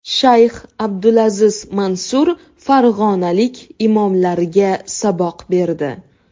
Shayx Abdulaziz Mansur farg‘onalik imomlarga saboq berdi.